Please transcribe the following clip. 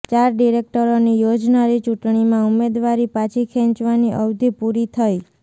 ચાર ડિરેકટરોની યોજાનારી ચૂંટણીમાં ઉમેદવારી પાછી ખેંચવાની અવધિ પૂરી થઈ